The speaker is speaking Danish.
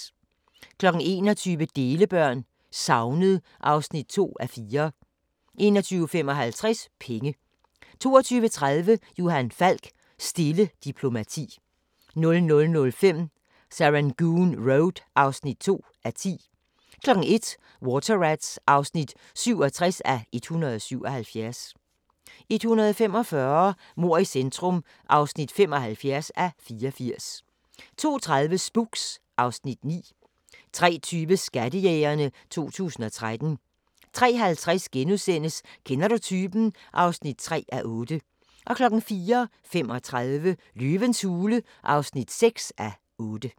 21:00: Delebørn – Savnet (2:4) 21:55: Penge 22:30: Johan Falk: Stille diplomati 00:05: Serangoon Road (2:10) 01:00: Water Rats (67:177) 01:45: Mord i centrum (75:84) 02:30: Spooks (Afs. 9) 03:20: Skattejægerne 2013 03:50: Kender du typen? (3:8)* 04:35: Løvens hule (6:8)